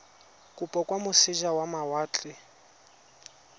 kopo kwa moseja wa mawatle